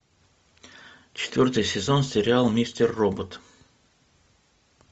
четвертый сезон сериал мистер робот